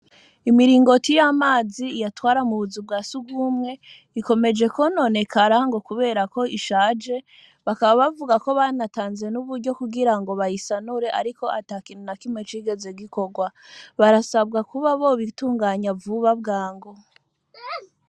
Imiringoti y'amazi iyatwara mu buzu bwa surwumwe, ikomeje kwononekara ngo kubera ko ishaje, bakaba bavuga ko banatanze n'uburyo kugira ngo bayisanure, ariko ata kintu na kimwe cigeze gikorwa; barasabwa kuba bobitunganya vuba bwango.